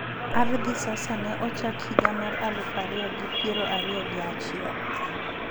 ArdhiSasa ne ochak higa mar aluf ariyo gi piero ariyo gi achiel